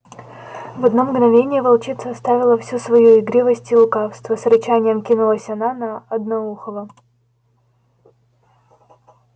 в одно мгновение волчица оставила всю свою игривость и лукавство с рычанием кинулась она на одноухого